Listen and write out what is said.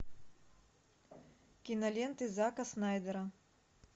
киноленты зака снайдера